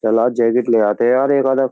चल आ जैकेट ले आते है यार एक आधा।